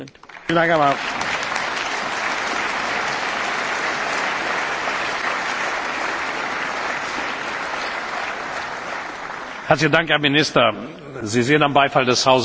Herzlichen Dank, Herr Minister, Sie sehen am Beifall des Hauses, dass ich glaube, sagen zu können vor allen Dingen auch Ihr persönlicher Einsatz hier in diesem Hause auf großen Respekt gestoßen ist.